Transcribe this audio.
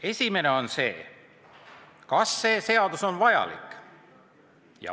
Esimene küsimus: kas see seadus on vajalik?